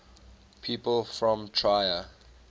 people from trier